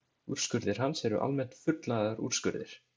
Úrskurðir hans eru almennt fullnaðarúrskurðir.